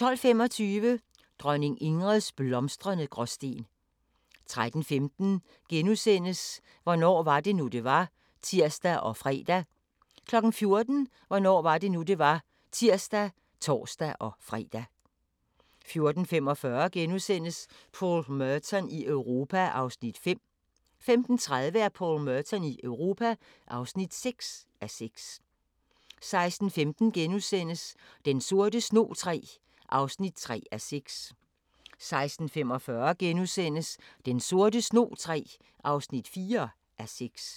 12:25: Dronning Ingrids blomstrende Gråsten 13:15: Hvornår var det nu, det var? *(tir og fre) 14:00: Hvornår var det nu, det var? (tir og tor-fre) 14:45: Paul Merton i Europa (5:6)* 15:30: Paul Merton i Europa (6:6) 16:15: Den sorte snog III (3:6)* 16:45: Den sorte snog III (4:6)*